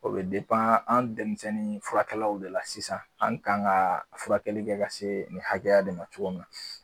O de pan an denmisɛnni furakɛlaw de la sisan an kan ga furakɛli kɛ ka se nin hakɛya de ma cogo min na